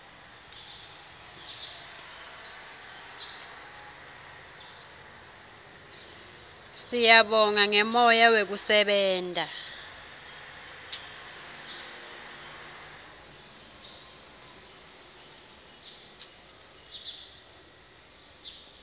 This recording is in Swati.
siyabonga ngemoya wekusebenta